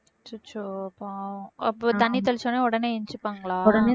அச்சச்சோ பாவம் அப்போ தண்ணி தெளிச்ச உடனே உடனே எந்திரிச்சுப்பாங்களா